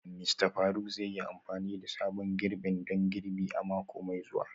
Mista Faruk zai yi amfani da sabon girbin don girbi a mako mai zuwa